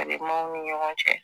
maaw ni ɲɔgɔn cɛ